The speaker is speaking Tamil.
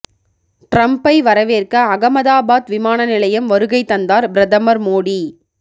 டிரம்ப்பை வரவேற்க அகமதாபாத் விமான நிலையம் வருகை தந்தார் பிரதமர் மோடி